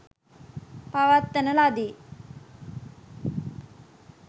පවත්වන ලදී.